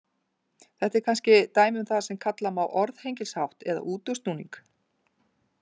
Þetta er kannski dæmi um það sem kalla má orðhengilshátt eða útúrsnúning.